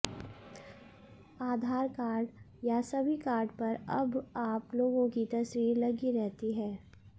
आधार card या सभी card पर अब आप लोगों की तस्वीर लगी रहती है